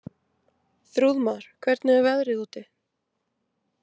Þrúðmar, hvernig er veðrið úti?